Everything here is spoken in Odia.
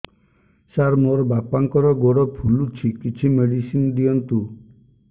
ସାର ମୋର ବାପାଙ୍କର ଗୋଡ ଫୁଲୁଛି କିଛି ମେଡିସିନ ଦିଅନ୍ତୁ